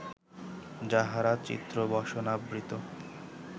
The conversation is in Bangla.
যাঁহারা চিত্রবসনাবৃত